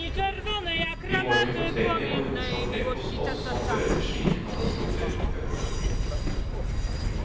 Vi må ikke fortrenge og underslå trekk hos oss som fører til slike katastrofer. punktum